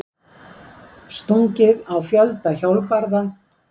Stungið á fjölda hjólbarða